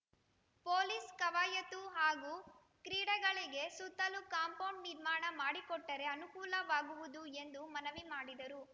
police ಕವಾಯತು ಹಾಗೂ ಕ್ರೀಡೆಗಳಿಗೆ ಸುತ್ತಲೂ ಕಾಂಪೌಂಡ್‌ ನಿರ್ಮಾಣ ಮಾಡಿಕೊಟ್ಟರೆ ಅನುಕೂಲವಾಗುವುದು ಎಂದು ಮನವಿ ಮಾಡಿದರು